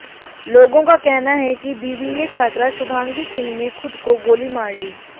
लोगों का कहना है कि बीबीए छात्रा शुभांगी सिंह ने खुद को गोली मार ली